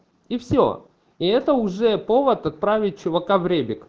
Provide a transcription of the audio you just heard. и все и это уже повод отправить чувака в ребек